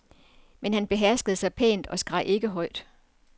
Men han beherskede sig pænt og skreg ikke højt.